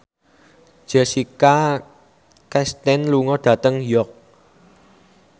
Jessica Chastain lunga dhateng York